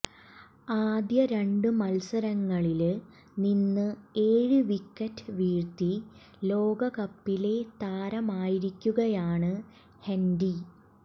ആദ്യ രണ്ട് മത്സരങ്ങളില് നിന്ന് ഏഴ് വിക്കറ്റ് വീഴ്ത്തി ലോകകപ്പിലെ താരമായിരിക്കുകയാണ് ഹെന്റി